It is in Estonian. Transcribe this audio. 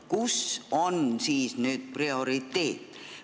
Kus on nüüd prioriteet?